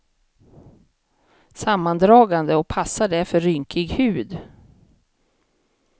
Sammandragande och passar därför rynkig hud.